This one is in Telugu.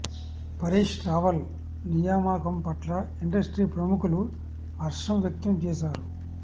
పరేష్ రావల్ నియామకం పట్ల ఇండస్ట్రీ ప్రముఖులు హర్షం వ్యక్తం చేశారు